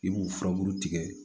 I b'u furabulu tigɛ